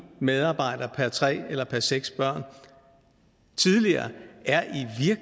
medarbejder per tre eller per seks børn tidligere er